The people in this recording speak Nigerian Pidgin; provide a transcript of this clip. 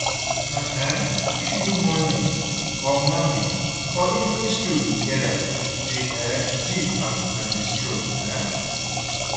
Una um fit do morning or morning or evening stroll together dey um gist as una dey stroll um